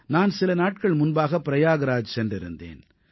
நான் சில நாட்கள் முன்பாக பிரயாக்ராஜ் சென்றிருந்தேன்